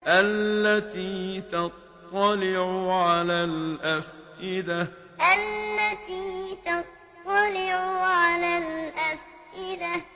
الَّتِي تَطَّلِعُ عَلَى الْأَفْئِدَةِ الَّتِي تَطَّلِعُ عَلَى الْأَفْئِدَةِ